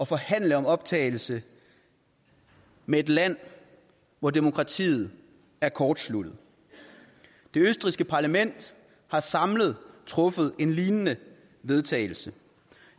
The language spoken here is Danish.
forhandle om optagelse med et land hvor demokratiet er kortsluttet det østrigske parlament har samlet truffet en lignende vedtagelse